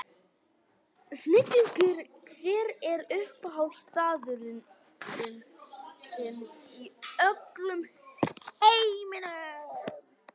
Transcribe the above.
Snillingur Hver er uppáhaldsstaðurinn þinn í öllum heiminum?